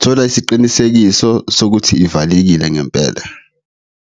thola isiqinisekiso sokuthi ivalekile ngempela.